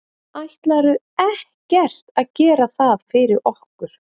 Ætlarðu ekkert að gera það fyrir okkur?